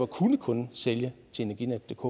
kun kunne sælge til energinetdk